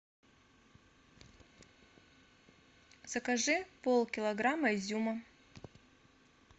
закажи полкилограмма изюма